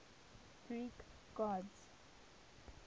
greek gods